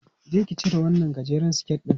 Je ki cire wannan gajeren siket ɗin!